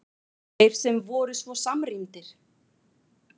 Þeir sem voru svo samrýndir!